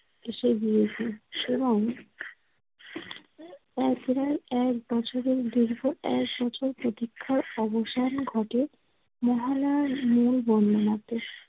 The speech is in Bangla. হেসে দিয়েছে। এক বার এক বছরের দীর্ঘ এক বছর প্রতীক্ষার অবসান ঘটে। মহারাঢ় মূল বর্ণনাতে।